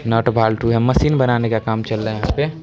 नट bolt है machine बनाने का काम चल रहा यहां पे ।